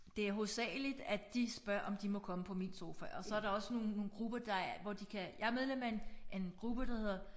Det er hovedsageligt at de spørger om de må komme på min sofa og så er der også nogle nogle grupper der hvor de kan jeg er medlem af en af en gruppe der hedder